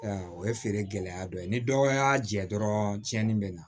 O ye feere gɛlɛya dɔ ye ni dɔ y'a jɛ dɔrɔn cɛnni bɛ na